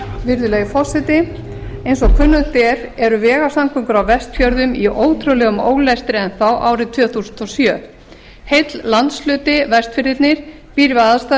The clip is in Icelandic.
virðulegi forseti eins og kunnugt er eru vegasamgöngur á vestfjörðum í ótrúlegum ólestri enn árið tvö þúsund og sjö heill landshluti vestfirðirnir býr við aðstæður